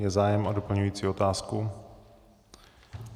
Je zájem o doplňující otázku?